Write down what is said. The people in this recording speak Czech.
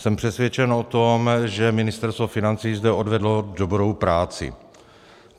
Jsem přesvědčen o tom, že Ministerstvo financí zde odvedlo dobrou práci.